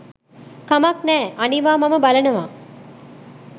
කමක් නෑ අනිවා මම බලනවා